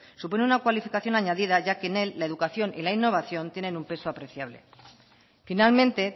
supone una cualificación añadida ya que en él la educación y la innovación tienen un peso apreciable finalmente